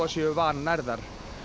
séu vannærðar